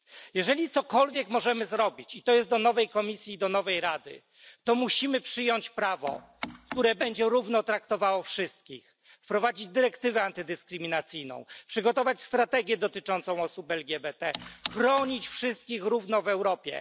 Jeżeli cokolwiek możemy zrobić i tu zwracam się do nowej Komisji i nowej Rady to musimy przyjąć prawo, które będzie równo traktowało wszystkich, wprowadzić dyrektywę antydyskryminacyjną, przygotować strategię dotyczącą osób LGBT, chronić wszystkich tak samo w całej Europie.